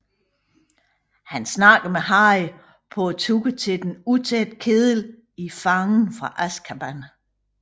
Han snakker med Harry på turen til Den Utætte Kedel i Fangen fra Azkaban